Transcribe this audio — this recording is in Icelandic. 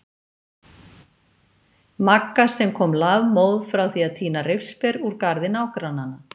Magga sem kom lafmóð frá því að tína rifsber úr garði nágrannanna.